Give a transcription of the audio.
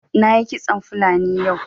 Na yi kitson fulani yau